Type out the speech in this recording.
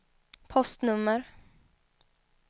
postnummer